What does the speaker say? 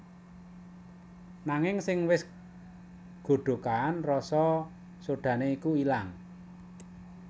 Nanging sing wis godhogan rasa sodhané iku ilang